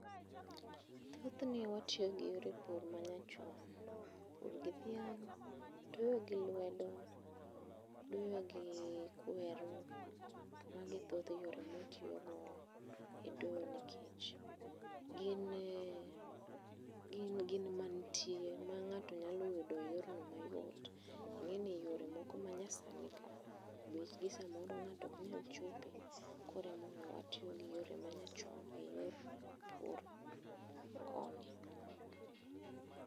Thothne watiyo gi yore pur manyachon, pur gi dhiang, doyo gi lwedo ,doyo gi kweru mago e thoth yore ma watiyo go e doyo nikech gin, gin mantie ma ng'ato nyalo yudo e yorno mayot ingeni yore manyasani bech gi samoro ng'ato ok nyal chope koro emomiyo watiyo gi yore manyachon e yor pur koni.